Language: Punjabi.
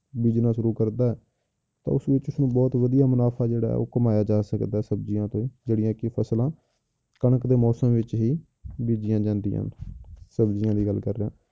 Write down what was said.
business ਸ਼ੁਰੂ ਕਰਦਾ ਹੈ ਤਾਂ ਉਸ ਵਿੱਚ ਉਸਨੂੰ ਬਹੁਤ ਵਧੀਆ ਮੁਨਾਫ਼ਾ ਜਿਹੜਾ ਹੈ ਉਹ ਕਮਾਇਆ ਜਾ ਸਕਦਾ ਹੈ ਸਬਜ਼ੀਆਂ ਤੋਂ ਜਿਹੜੀਆਂ ਕਿ ਫਸਲਾਂ ਕਣਕ ਦੇ ਮੌਸਮ ਵਿੱਚ ਹੀ ਬੀਜ਼ੀਆਂ ਜਾਂਦੀਆਂ ਸਬਜ਼ੀਆਂ ਦੀ ਗੱਲ ਕਰ ਰਿਹਾਂ।